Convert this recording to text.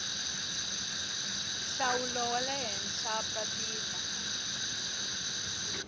nhlawulo wa le henhla papila